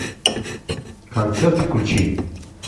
концерт включи